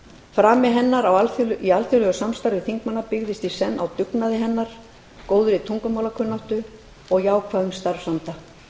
frami hennar í alþjóðlegu samstarfi þingmanna byggðist í senn á dugnaði hennar góðri tungumálakunnáttu og jákvæðum starfsanda